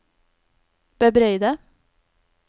bebreide